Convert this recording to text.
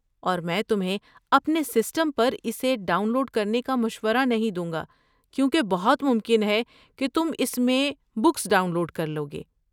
اور میں تمہیں اپنے سسٹم پر اسے ڈاؤن لوڈ کرنے کا مشورہ نہیں دوں گا کیونکہ بہت ممکن ہے کہ تم اس میں بگس ڈاؤن لوڈ کر لو گے۔